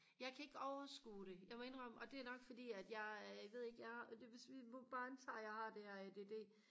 jeg kan ikke overskue det jeg må indrømme og det er nok fordi at jeg ved ikke jeg hvis vi må bare antage at jeg har det her ADD